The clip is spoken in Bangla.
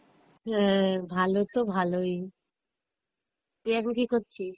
হ্যাঁ, ভালো তো ভালোই, তুই এখন কি করছিস?